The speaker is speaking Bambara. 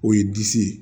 O ye disi ye